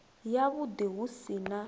yavhuḓi hu si na u